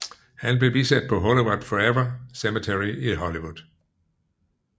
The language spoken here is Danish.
Han blev bisat på Hollywood Forever Cemetery i Hollywood